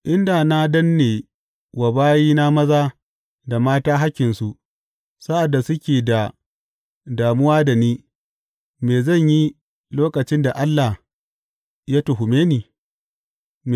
In da na danne wa bayina maza da mata hakkinsu, sa’ad da suke da damuwa da ni, me zan yi lokacin da Allah ya tuhume ni?